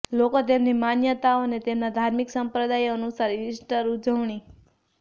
લોકો તેમની માન્યતાઓ અને તેમના ધાર્મિક સંપ્રદાયો અનુસાર ઇસ્ટર ઉજવણી